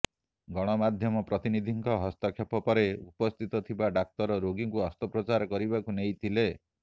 ଗଣମାଧ୍ୟମ ପ୍ରତିନିଧିଙ୍କ ହସ୍ତକ୍ଷେପ ପରେ ଉପସ୍ଥିତ ଥିବା ଡାକ୍ତର ରୋଗୀଙ୍କୁ ଅସ୍ତ୍ରୋପଚାର କରିବାକୁ ନେଇଥିଲେ